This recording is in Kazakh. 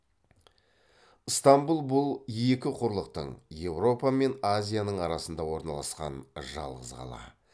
ыстамбұл бұл екі құрлықтың еуропа мен азияның арасында орналасқан жалғыз қала